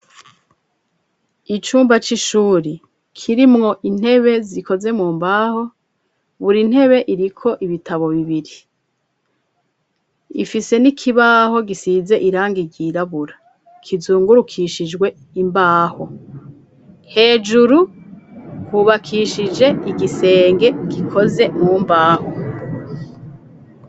Icumba c'ishuri kirimwo intebe zikoze mumbaho buri ntebe iriko ibitabo bibiri ifise n'ikibaho gisize irangi ryirabura kizungurukishijwe imbaho, hejuru kubakishije igisenge gikoze mu mbaho.